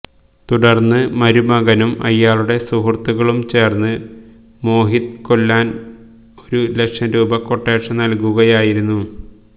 തുടര്ന്ന് മരുമകനും അയാളുടെ സുഹൃത്തുക്കളും ചേര്ന്ന് മോഹിത് കൊല്ലാന് ഒരു ലക്ഷം രൂപ ക്വെട്ടേഷന് നല്കുകയായിരുന്നു